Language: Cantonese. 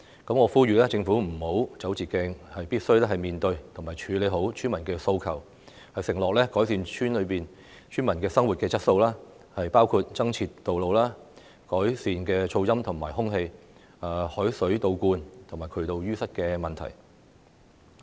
我呼籲政府不要走捷徑，必須面對及處理村民的訴求，承諾改善村民的生活質素，包括增設道路、改善噪音及空氣污染、海水倒灌及渠道淤塞的問題。